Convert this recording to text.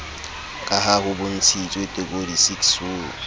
ka ha ho bontshitswe tekodisiksong